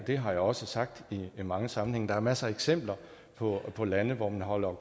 det har jeg også sagt i mange sammenhænge der er masser af eksempler på på lande hvor man afholder